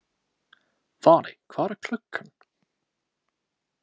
Valey, hvað er klukkan?